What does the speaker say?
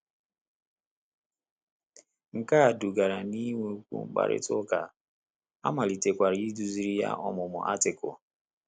Nke a dugara n’inwekwu mkparịta ụka, a malitekwara iduziri ya ọmụmụ Artịkụlụ.